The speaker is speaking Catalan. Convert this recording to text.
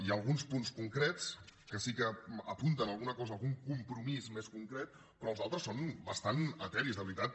hi ha alguns punts concrets que sí que apunten alguna cosa algun compromís més concret però els altres són bastant eteris de veritat